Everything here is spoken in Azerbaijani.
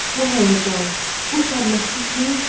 Bu həyəcan, bu sərməstlik nə üçündü?